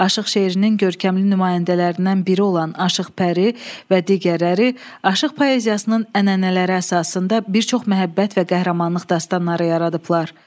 Aşıq şeirinin görkəmli nümayəndələrindən biri olan Aşıq Pəri və digərləri aşıq poeziyasının ənənələri əsasında bir çox məhəbbət və qəhrəmanlıq dastanları yaradıblar.